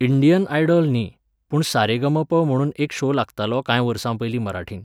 Indian Idol न्ही, पूण सारेगमप म्हुणून एक शो लागतालो कांय वर्सांपयलीं मराठींत